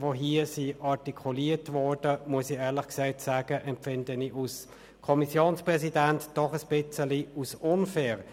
Aber die hier artikulierten Vorwürfe empfinde ich als Kommissionspräsident doch ein wenig unfair.